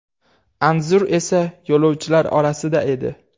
Anzur esa yo‘lovchilar orasida edi.